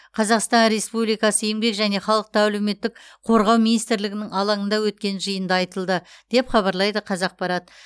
қазақстан республикасы еңбек және халықты әлеуметтік қорғау министрлігінің алаңында өткен жиында айтылды деп хабарлайды қазақпарат